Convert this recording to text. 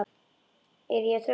Er ég að trufla?